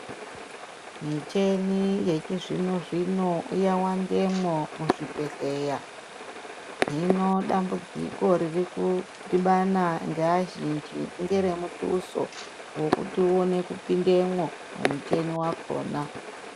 Micheni yechizvino zvino yawandemwo muzvibhehleya .Hino damudziko ririkudhibana neazhinji ngeremutuso wekuti uwone kupindemwo mumicheni yakona.